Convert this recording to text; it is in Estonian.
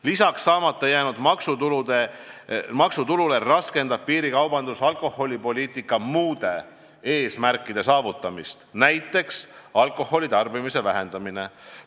Lisaks saamata jäänud maksutulule raskendab piirikaubandus alkoholipoliitika muude eesmärkide saavutamist, näiteks alkoholitarbimise vähendamist.